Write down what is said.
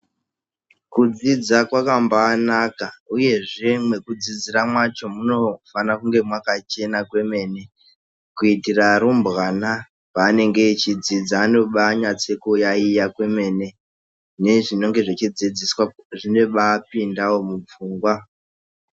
Kudzidza kwakabanaka uye mekudzidzira macho Munofana kunge makachena kwemene kuitira rumbwana pavanenge vachidzidza vanonyaso yaiya kwemene zvinonga zvichidzidziswa zvinobapinda mupfungwa.